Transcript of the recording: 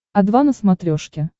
о два на смотрешке